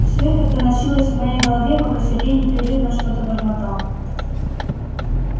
всё это проносилось в моей голове пока сергей непрерывно что-то бормотал